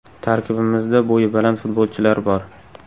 Tarkibimizda bo‘yi baland futbolchilar bor.